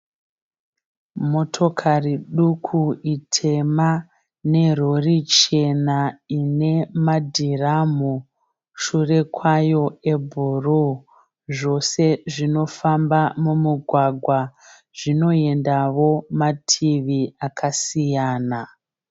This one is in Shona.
Motokari duku itema nerori chena ine madhiramhu shure kwayo ebhuru. Zvose zvinofamba mumugwagwa. Zvinoendawo mativi akasiyana.